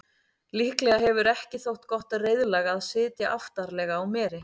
Líklega hefur ekki þótt gott reiðlag að sitja aftarlega á meri.